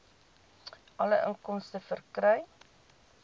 alle inkomste verkry